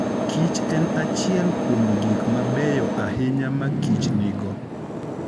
Kich en achiel kuom gik mabeyo ahinya ma kich nigo.